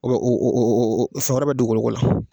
O bɛ, o o o o samara bɛ dugukoloko la.